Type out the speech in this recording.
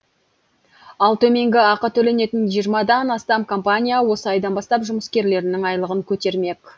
ал төменгі ақы төленетін жиырмадан астам компания осы айдан бастап жұмыскерлерінің айлығын көтермек